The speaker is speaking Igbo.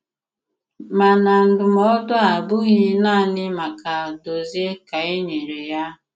Màna ndụ̀mọ̀du à abụghị nanị maka Dòzìè kà e nyere ya.